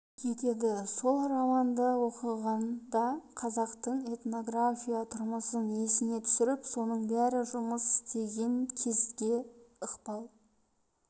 етеді сол романды оқығанда қазақтың этнография тұрмысын есіңе түсіріп соның бәрі жұмыс істеген кезде ықпал